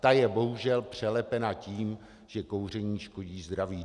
Ta je bohužel přelepena tím, že kouření škodí zdraví.